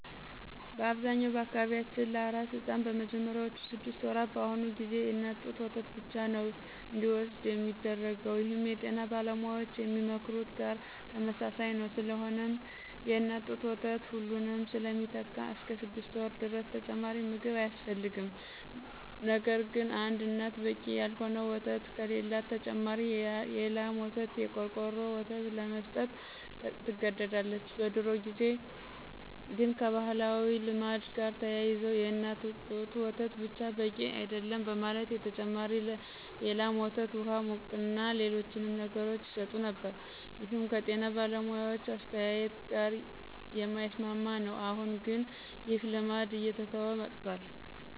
በአብዛኛው በአካባቢያችን ለአራስ ሕፃን በመጀመሪያዎቹ ስድስት ወራት በአሁኑ ጊዜ የእናት ጡት ወተት ብቻ ነዉ እንዲወስድ ሚደረገው ይህም የጤና ባለሙያዎች ከሚመክሩት ጋር ተመሳሳይ ነዉ። ስለሆነም የእናት ጡት ወተት ሁሉንም ስለሚተካ እስከ ስድስት ወር ድረስ ተጨማሪ ምግብ አያስፈልግም። ነገርግን አንድ እናት በቂ ያልሆነ ወተት ከሌላት ተጨማሪ የላም ወይም የቆርቆሮ ወተት ለመስጠት ትገደዳለች። በድሮ ጊዜ ግን ከባህላዊ ልማድ ጋር ተያይዞ የእናት ጡት ወተት ብቻ በቂ አይደለም በማለት ተጨማሪ የላም ወተት፣ ውሃ፣ ሙቅና ሌሎችንም ነገሮች ይሰጡ ነበር ይህም ከጤና ባለሙያዎች አስተያየት ጋር የማይስማማ ነው። አሁን ግን ይህ ልማድ እየተተወ መጥቷል።